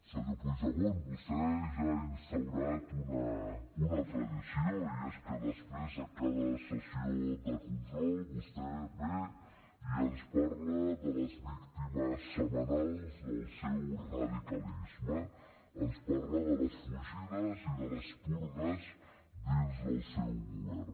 senyor puigdemont vostè ja ha instaurat una tradició i és que després de cada sessió de control vostè ve i ens parla de les víctimes setmanals del seu radicalisme ens parla de les fugides i de les purgues dins del seu govern